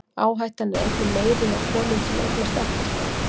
Áhættan er einnig meiri hjá konum sem eignast ekkert barn.